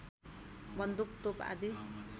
बन्दुक तोप आदि